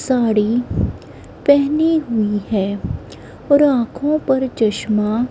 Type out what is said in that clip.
साड़ी पहनी हुई है और आंखों पर चश्मा--